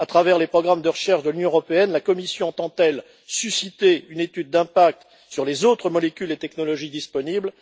À travers les programmes de recherche de l'Union européenne, la Commission entend elle susciter une étude d'impact sur les autres molécules et technologies disponibles?